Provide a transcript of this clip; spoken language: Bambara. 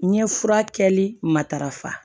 N ye fura kɛli matarafa